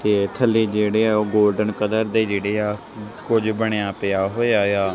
ਤੇ ਥੱਲੇ ਜੇਹੜੇ ਆ ਓਹ ਗੋਲਡਨ ਕਲਰ ਦੇ ਜੇਹੜੇ ਆ ਕੁਝ ਬਣਿਆ ਪਿਆ ਹੋਇਆ ਯਾ।